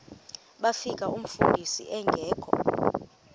bafika umfundisi engekho